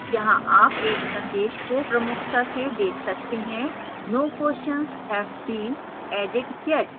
यहां आप एक संदेश को प्रमुखता से देख सकते हैंno questions have been added yet